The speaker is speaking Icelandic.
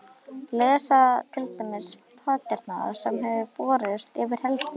Lesa til dæmis pantanirnar sem höfðu borist yfir helgina.